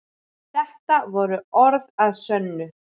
Þetta voru orð að sönnu.